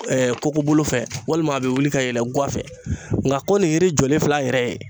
kokobolo fɛ walima a bɛ wuli ka yɛlɛ guwa fɛ nka ko nin ye yiri jɔlen fil'a yɛrɛ ye.